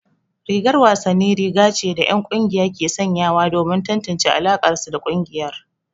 Rigar wasanni riga ce da 'yan kungiya ke sanyawa domin tantance alakarsu da kungiyar.